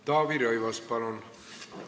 Taavi Rõivas, palun!